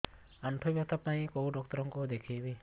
ଆଣ୍ଠୁ ବ୍ୟଥା ପାଇଁ କୋଉ ଡକ୍ଟର ଙ୍କୁ ଦେଖେଇବି